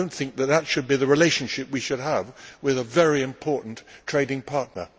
That is not the relationship we should have with a very important trading partner.